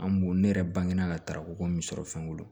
An b'o ne yɛrɛ bange na ka taraw ko min sɔrɔ fɛnko